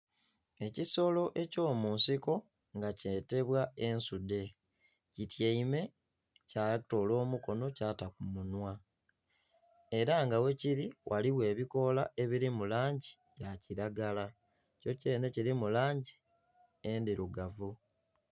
Ekisolo eky'omunsiko nga kyetebwa ensude kityaime kyatoola omukono kyata ku munhwa era nga wekiri waliwo ebikoola ebiri mu langi ya kiragala, kyo kyenhe kirimu langi endirugavu